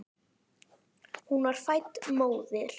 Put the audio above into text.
Hún var fædd móðir.